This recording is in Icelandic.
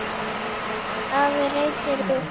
Afi reytir upp.